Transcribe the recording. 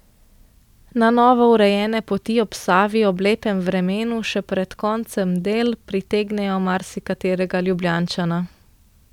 Na novo urejene poti ob Savi ob lepem vremenu še pred koncem del pritegnejo marsikaterega Ljubljančana.